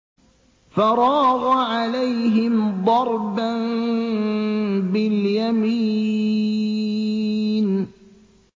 فَرَاغَ عَلَيْهِمْ ضَرْبًا بِالْيَمِينِ